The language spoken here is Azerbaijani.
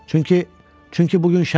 Çünki, çünki bu gün şənbədir.